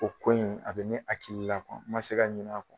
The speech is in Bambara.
O ko in a bɛ ne hakili la ma se ka ɲin'a